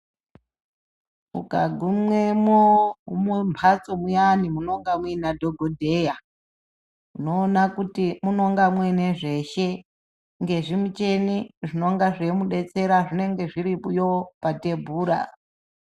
Uka gumemwo mumbatso muyani munenge muina dhokodheya unoonakuti munenge muinezvese nezvi mucheni zvinonga zveimudetsera zvinenge zvirimwo patebhura.